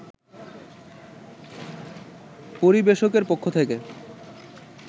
পরিবেশকের পক্ষ থেকে